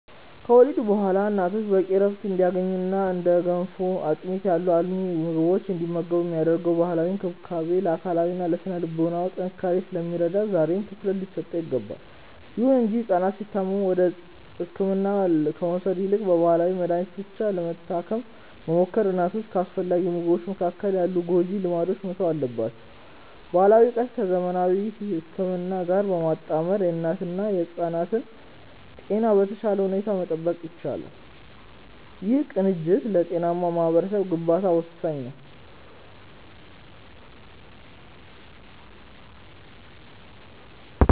ከወሊድ በኋላ እናቶች በቂ ዕረፍት እንዲያገኙና እንደ ገንፎና አጥሚት ያሉ አልሚ ምግቦችን እንዲመገቡ የሚደረገው ባህላዊ እንክብካቤ ለአካላዊና ለሥነ-ልቦና ጥንካሬያቸው ስለሚረዳ ዛሬም ትኩረት ሊሰጠው ይገባል። ይሁን እንጂ ሕፃናት ሲታመሙ ወደ ሕክምና ከመውሰድ ይልቅ በባህላዊ መድኃኒት ብቻ ለመታከም መሞከርና እናቶችን ከአስፈላጊ ምግቦች መከልከል ያሉ ጎጂ ልማዶች መተው አለባቸው። ባህላዊ ዕውቀትን ከዘመናዊ ሕክምና ጋር በማጣመር የእናትና የሕፃናትን ጤና በተሻለ ሁኔታ መጠበቅ ይቻላል። ይህ ቅንጅት ለጤናማ ማኅበረሰብ ግንባታ ወሳኝ ነው።